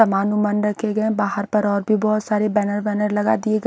समान ओमान रखे गए बाहर पर और भी बहोत सारी बैनर वैनर लगा दिए गए--